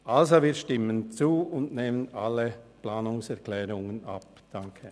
Also: Wir stimmen zu und nehmen alle Planungserklärungen an.